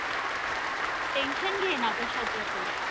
Tension घेईना कशाचं पण.